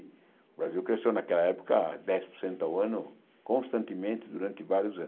O Brasil cresceu naquela época dez por cento ao ano, constantemente, durante vários anos.